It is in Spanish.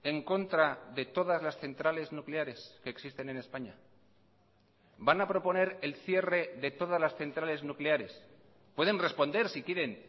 en contra de todas las centrales nucleares que existen en españa van a proponer el cierre de todas las centrales nucleares pueden responder si quieren